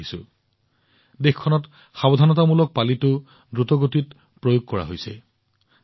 দেশত এক দ্ৰুত সাৱধানতামূলক পালিও প্ৰয়োগ কৰা হৈছে